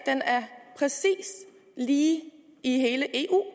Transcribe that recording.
præcis lige i hele eu